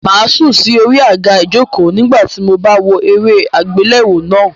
Màá sùn sí orí àga ìjokòó nígbà tí mo bá ń wo eré àgbéléwò náà.